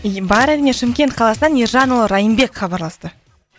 и бар әрине шымкент қаласынан ержанұлы райымбек хабарласты